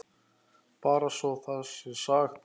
Bara svo það sé sagt.